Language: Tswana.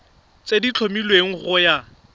tse di tlhomilweng go ya